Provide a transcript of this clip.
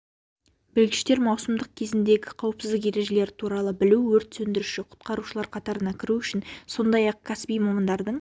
білгіштер маусымдық кезіндегі қауіпсіздік ережелері туралы білу өрт сөндіруші-құтқарушылар қатарына кіру үшін сондай-ақ кәсіби мамандардың